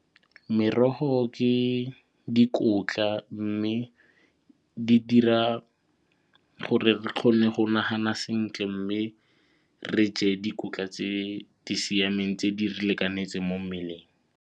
Merogo ke dikotla mme di dira gore re kgone go nagana sentle mme re je dikotla tse di siameng tse di re lekanetseng mo mmeleng.